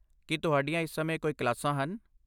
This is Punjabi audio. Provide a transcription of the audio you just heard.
ਕੀ ਤੁਹਾਡੀਆਂ ਇਸ ਸਮੇਂ ਕੋਈ ਕਲਾਸਾਂ ਹਨ?